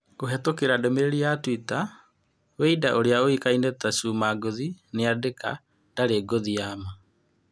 Kũhetũkĩra ndũmĩrĩri ya Twita, Weinda ũrĩa ũĩkaine ta Chuma Ngũthi nĩandika: " Ndarĩ ngũthi ya maa."